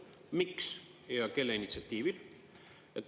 Miks ja kelle initsiatiivil?